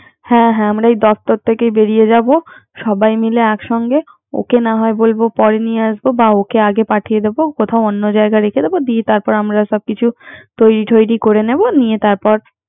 হ্যা হ্যা আমরা দপ্তর থেকে বেরিয়ে যাবো। সাবাই মিলে একসাথে ।ওকে না হয় বলব পরে নিয়ে আসতে বা ওকে আগে পাঠিয়ে দিবো কোথায় অন্য জায়গায় রেখে দিব। দিয়ে তারপর আমরা সব কিছু তৈরি টেরি করে নিব। নিয়ে তারপর